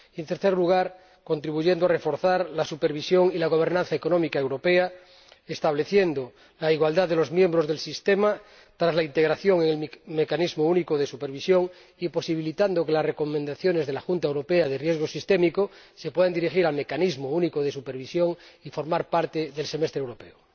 En tercer lugar, contribuir a reforzar la supervisión y la gobernanza económica europea, estableciendo la igualdad de los miembros del Sistema tras la integración en el mecanismo único de supervisión y posibilitando que las recomendaciones de la Junta Europea de Riesgo Sistémico se puedan dirigir al mecanismo único de supervisión y formar parte del Semestre Europeo.